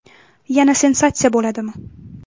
Yana sensatsiya bo‘ladimi?